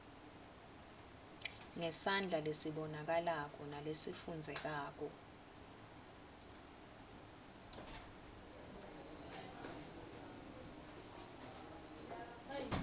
ngesandla lesibonakalako nalesifundzekako